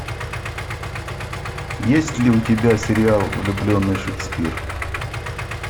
есть ли у тебя сериал влюбленный шекспир